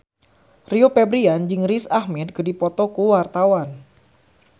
Rio Febrian jeung Riz Ahmed keur dipoto ku wartawan